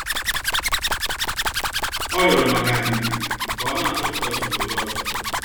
Ọ rịorọ maka ndidi ka ọ na-achọpụta usoro ya ozo.